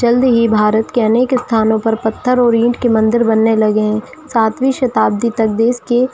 जल्दी ही भारत के अनेक स्थानों पर पत्थर और इट के मंदिर बनने लगे हैं सातवीं शताब्दी तक देश के--